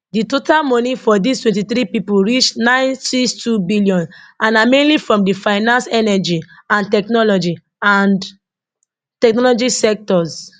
di total money for dis 23 pipo reach 962 billion and na mainly from di finance energy and technology and technology sectors